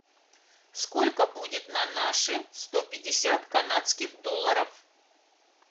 сколько будет на наши сто пятьдесят канадских долларов